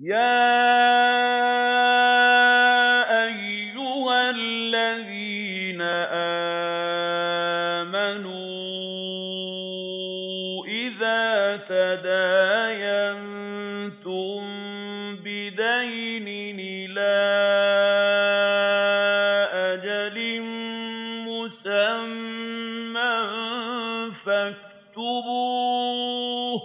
يَا أَيُّهَا الَّذِينَ آمَنُوا إِذَا تَدَايَنتُم بِدَيْنٍ إِلَىٰ أَجَلٍ مُّسَمًّى فَاكْتُبُوهُ ۚ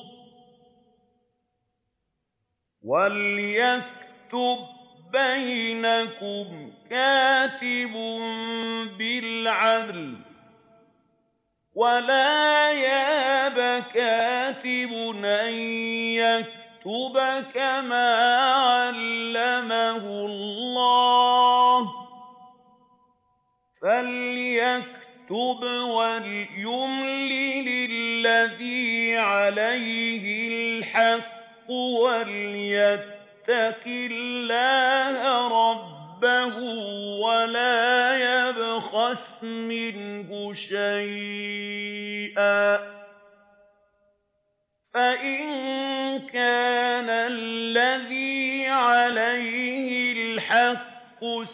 وَلْيَكْتُب بَّيْنَكُمْ كَاتِبٌ بِالْعَدْلِ ۚ وَلَا يَأْبَ كَاتِبٌ أَن يَكْتُبَ كَمَا عَلَّمَهُ اللَّهُ ۚ فَلْيَكْتُبْ وَلْيُمْلِلِ الَّذِي عَلَيْهِ الْحَقُّ وَلْيَتَّقِ اللَّهَ رَبَّهُ وَلَا يَبْخَسْ مِنْهُ شَيْئًا ۚ فَإِن كَانَ الَّذِي عَلَيْهِ الْحَقُّ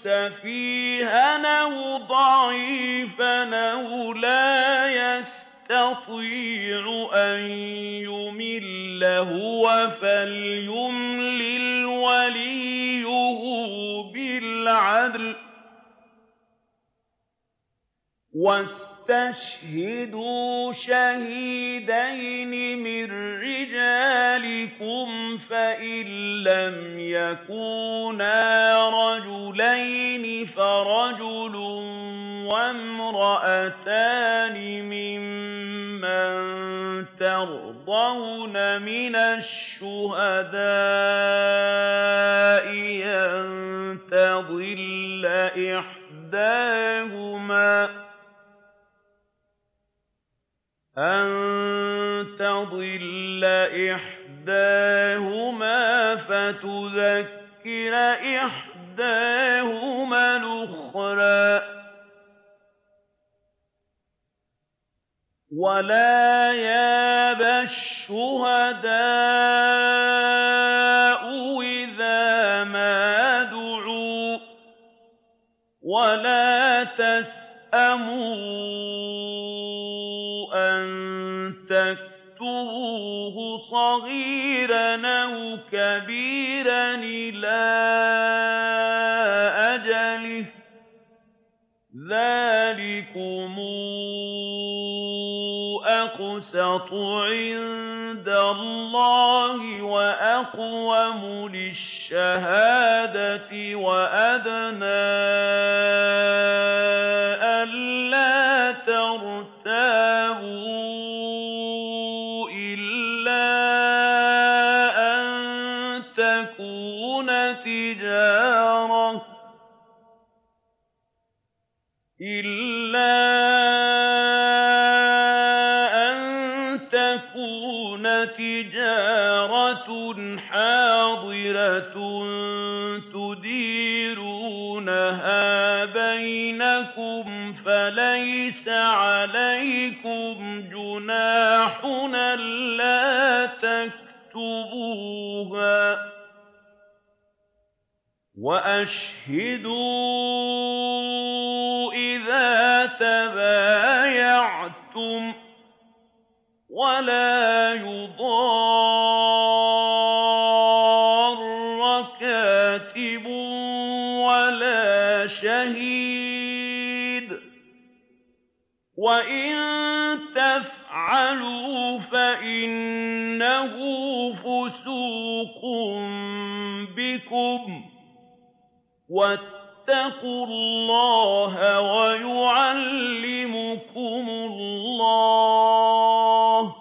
سَفِيهًا أَوْ ضَعِيفًا أَوْ لَا يَسْتَطِيعُ أَن يُمِلَّ هُوَ فَلْيُمْلِلْ وَلِيُّهُ بِالْعَدْلِ ۚ وَاسْتَشْهِدُوا شَهِيدَيْنِ مِن رِّجَالِكُمْ ۖ فَإِن لَّمْ يَكُونَا رَجُلَيْنِ فَرَجُلٌ وَامْرَأَتَانِ مِمَّن تَرْضَوْنَ مِنَ الشُّهَدَاءِ أَن تَضِلَّ إِحْدَاهُمَا فَتُذَكِّرَ إِحْدَاهُمَا الْأُخْرَىٰ ۚ وَلَا يَأْبَ الشُّهَدَاءُ إِذَا مَا دُعُوا ۚ وَلَا تَسْأَمُوا أَن تَكْتُبُوهُ صَغِيرًا أَوْ كَبِيرًا إِلَىٰ أَجَلِهِ ۚ ذَٰلِكُمْ أَقْسَطُ عِندَ اللَّهِ وَأَقْوَمُ لِلشَّهَادَةِ وَأَدْنَىٰ أَلَّا تَرْتَابُوا ۖ إِلَّا أَن تَكُونَ تِجَارَةً حَاضِرَةً تُدِيرُونَهَا بَيْنَكُمْ فَلَيْسَ عَلَيْكُمْ جُنَاحٌ أَلَّا تَكْتُبُوهَا ۗ وَأَشْهِدُوا إِذَا تَبَايَعْتُمْ ۚ وَلَا يُضَارَّ كَاتِبٌ وَلَا شَهِيدٌ ۚ وَإِن تَفْعَلُوا فَإِنَّهُ فُسُوقٌ بِكُمْ ۗ وَاتَّقُوا اللَّهَ ۖ وَيُعَلِّمُكُمُ اللَّهُ ۗ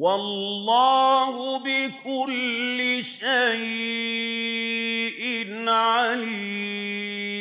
وَاللَّهُ بِكُلِّ شَيْءٍ عَلِيمٌ